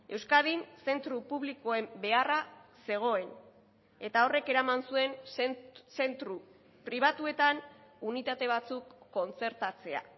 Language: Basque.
euskadin zentro publikoen beharra zegoen eta horrek eraman zuen zentro pribatuetan unitate batzuk kontzertatzea